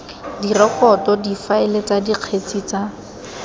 direkoto difaele tsa dikgetse tsa